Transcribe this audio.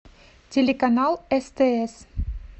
телеканал стс